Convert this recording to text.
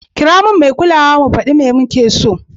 Kira min mai kulawa, zamu daɗi mai muke so.